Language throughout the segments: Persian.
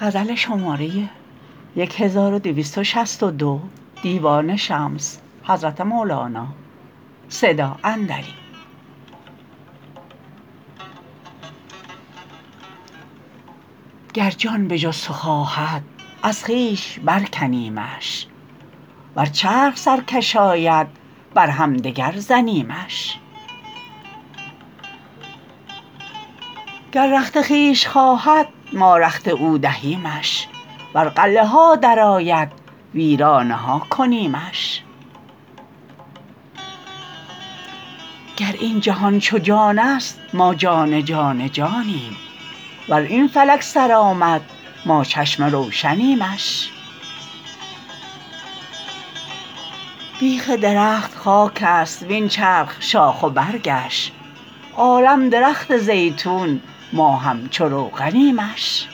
گر جان به جز تو خواهد از خویش برکنیمش ور چرخ سرکش آید بر همدگر زنیمش گر رخت خویش خواهد ما رخت او دهیمش ور قلعه ها درآید ویرانه ها کنیمش گر این جهان چو جانست ما جان جان جانیم ور این فلک سر آمد ما چشم روشنیمش بیخ درخت خاکست وین چرخ شاخ و برگش عالم درخت زیتون ما همچو روغنیمش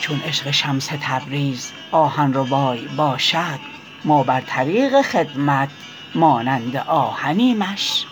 چون عشق شمس تبریز آهن ربای باشد ما بر طریق خدمت مانند آهنیمش